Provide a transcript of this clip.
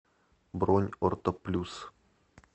бронь орто плюс